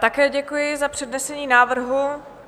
Také děkuji za přednesení návrhu.